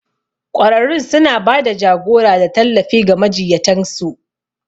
Ƙwararrun suna ba da jagora da tallafi ga majiyyatan su.